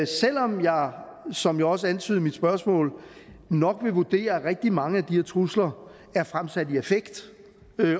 selv om jeg som jeg også antydede i mit spørgsmål nok vil vurdere at rigtig mange af de her trusler er fremsat i affekt